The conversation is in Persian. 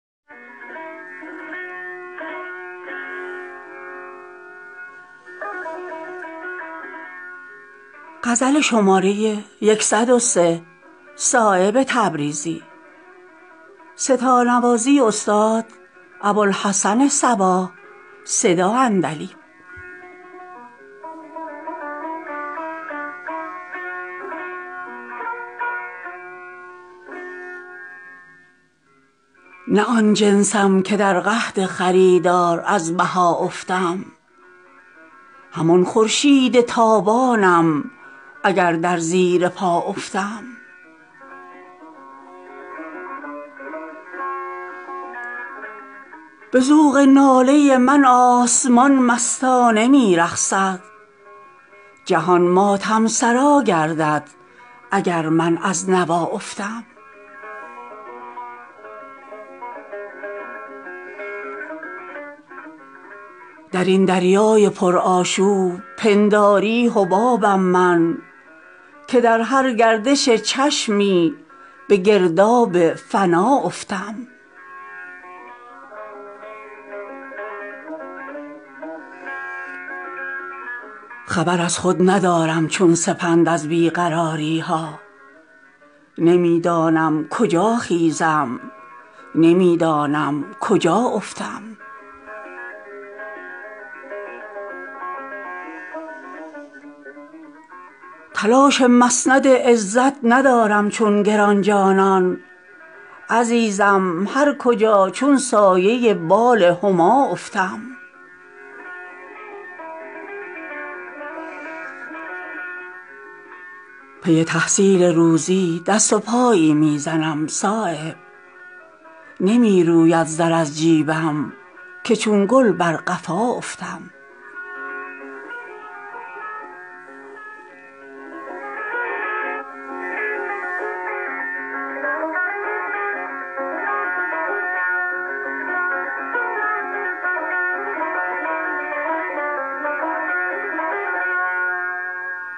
نه آن جنسم که در قحط خریدار از بها افتم همان خورشید تابانم اگر در زیر پا افتم به ذوق ناله من آسمان مستانه می رقصد جهان ماتم سرا گردد اگر من از نوا افتم درین دریای پرآشوب پنداری حبابم من که در هر گردش چشمی به گرداب فنا افتم چو آتش صاف از قید علایق کرده ام خود را نگیرد نقش پهلویم اگر بر بوریا افتم خبر از خود ندارم چون سپند از بیقراریها نمی دانم کجا خیزم نمی دانم کجا افتم نیفتم از صدا گر صد شکستم بر شکست آید نیم چینی که از اندک شکستی از صدا افتم عنان اختیار از دست چون برگ خزان دادم چو برق وباد خاکم می دواند تا کجا افتم ز من چون پرتو خورشید ناسازی نمی آید اگر خاری به دامانم درآویزد ز پا افتم تلاش مسند عزت ندارم چون گرانجانان عزیزم هر کجا چون سایه بال هما افتم گشایش نیست در پیشانی تخم امید من گره در کار آب افتد اگر در آسیا افتم پی تحصیل روزی دست و پایی می زنم صایب نمی روید زر از جیبم که چون گل برقفا افتم